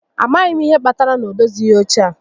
A maghị m ihe kpatara na ọ dozighị óche a